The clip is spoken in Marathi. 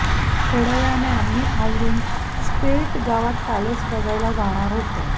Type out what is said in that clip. थोड्यावेळाने आम्ही आवरून स्प्लिट गावात पॅलेस बघायला जाणार होतो